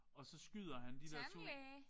Og så skyder han de der to